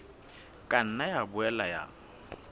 ka nna ya boela ya